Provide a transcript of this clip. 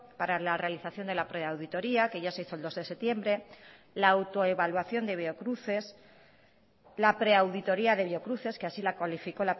para la realización de la preauditoria que ya se hizo el dos de septiembre la autoevaluación de biocruces la preauditoría de biocruces que así la cualificó